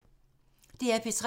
DR P3